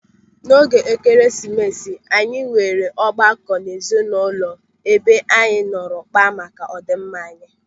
N'oge Ekeresimesi anyị nwere ọgbakọ ezinụlọ ebe anyị nọrọ kpaa maka ọdịmma anyị.